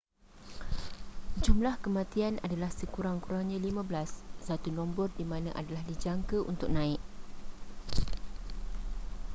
jumlah kematian adalah sekurang-kurangnya 15 satu nombor di mana adalah dijangka untuk naik